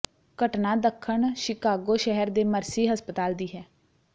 ਘਟਨਾ ਦੱਖਣ ਸ਼ਿਕਾਗੋ ਸ਼ਹਿਰ ਦੇ ਮਰਸੀ ਹਸਪਤਾਲ ਦੀ ਹੈ